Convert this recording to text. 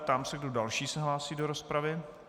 Ptám se, kdo další se hlásí do rozpravy.